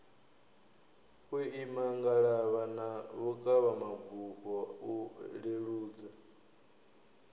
vhuimangalavha na vhukavhabufho u leludza